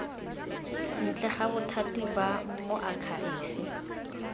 ntle ga bothati ba moakhaefe